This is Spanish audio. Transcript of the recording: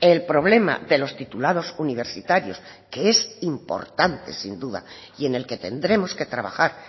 el problema de los titulados universitarios que es importante sin duda y en el que tendremos que trabajar